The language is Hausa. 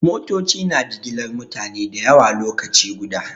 Motoci na jigilar mutane da yawa lokaci guda.